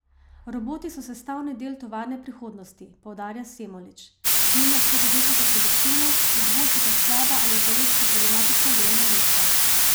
Roboti so sestavni del tovarne prihodnosti, poudarja Semolič: "Z njim lahko povečate produktivnost, izboljšate slaba ali ekološko problematična delovna mesta.